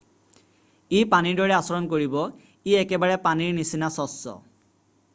"""ই পানীৰ দৰে আচৰণ কৰিব। ই একেবাৰে পানীৰ নিচিনা চচ্চ।""